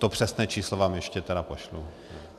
To přesné číslo vám tedy ještě pošlu.